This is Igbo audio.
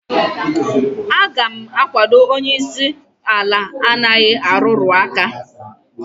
a ga m akwado onye isi ala na-anaghị arụrụ aka